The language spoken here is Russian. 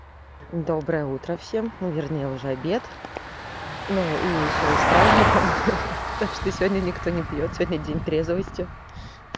доброе утро всем но вернее уже обед ну и ещё и с праздником ха-ха так что сегодня никто не пьёт сегодня день трезвости